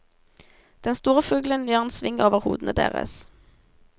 Den store fuglen gjør en sving over hodene deres.